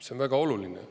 See on väga oluline.